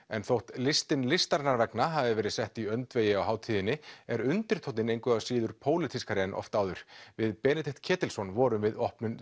en þótt listin listarinnar vegna hafi verið sett í öndvegi á hátíðinni er undirtónninn engu að síður pólitískari en oft áður við Benedikt Ketilsson vorum við opnun